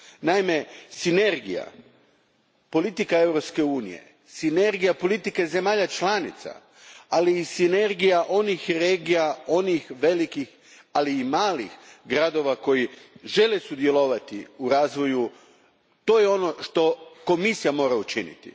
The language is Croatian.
Naime sinergija, politika Europske unije, sinergija politike zemalja članica, ali i sinergija onih regija, onih velikih, ali i malih gradova koji žele sudjelovati u razvoju, to je ono što Komisija mora učiniti.